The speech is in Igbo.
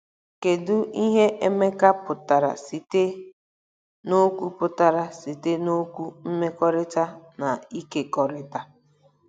Kedu ihe Emeka pụtara site n'okwu pụtara site n'okwu "mmekọrịta" na "ịkekọrịta"?